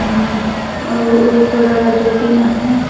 अउ अउ ओ कोड़ा ल जोतिन आहय।